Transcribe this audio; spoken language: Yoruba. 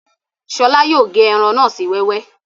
Ṣọlá yóò gé ẹran náà sí wẹ́wẹ́